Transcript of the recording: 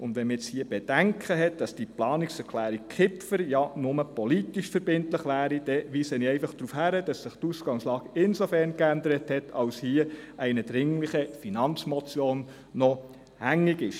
Hat man hier das Bedenken, die Planungserklärung Kipfer sei ja nur politisch verbindlich, weise ich darauf hin, dass sich die Ausgangslage insofern geändert hat, als hier noch eine dringliche Finanzmotion () hängig ist.